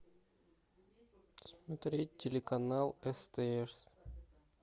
смотреть телеканал стс